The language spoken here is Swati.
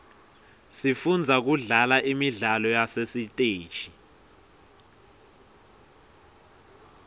sifundza kudlala imidlalo yasesiteji